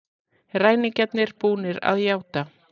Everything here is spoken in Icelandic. Ræningjarnir búnir að játa